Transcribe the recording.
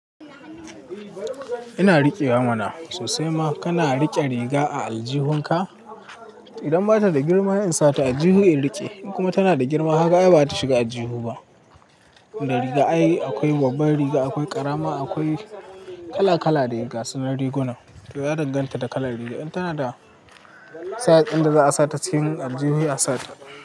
Ina riƙewa mana. Sosai ma kana riƙe riga a aljihunka. Idan bata da girma in sa ta a aljihu in riƙe. In kuma tana da girma, haka ai bata shiga a aljihu ba. Da riga ayi akwai babbar riga, akwai ƙarama, akwai kala kala dai gasu. Na rigunan to ya danganta da kalar riga. In tana da size ɗin da za a sa ta cikin aljihu, sai a sata.